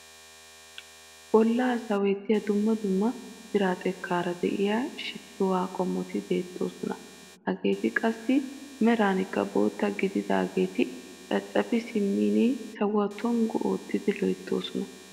Bollaa sawettiyaa dumma dumma biraa xekkaara de'iyaa shittuwaa qomoti beettoosona. hageti qassi merankka bootta gididaageti caccafi simmin sawuwaa tongu oottidi loyttoosona.